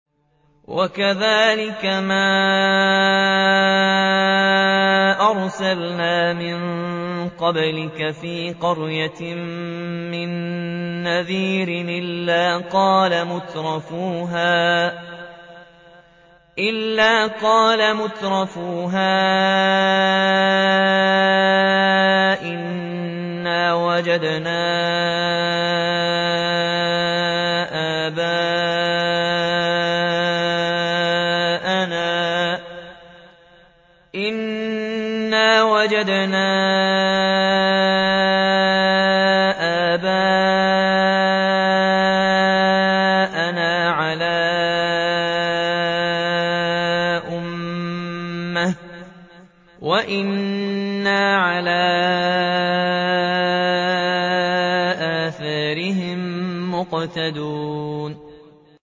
وَكَذَٰلِكَ مَا أَرْسَلْنَا مِن قَبْلِكَ فِي قَرْيَةٍ مِّن نَّذِيرٍ إِلَّا قَالَ مُتْرَفُوهَا إِنَّا وَجَدْنَا آبَاءَنَا عَلَىٰ أُمَّةٍ وَإِنَّا عَلَىٰ آثَارِهِم مُّقْتَدُونَ